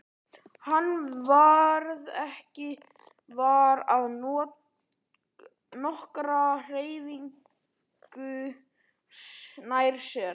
Hann varð ekki var við nokkra hreyfingu nærri sér.